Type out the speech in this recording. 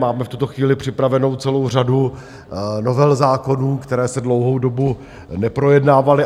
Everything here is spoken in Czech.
Máme v tuto chvíli připravenou celou řadu novel zákonů, které se dlouhou dobu neprojednávaly.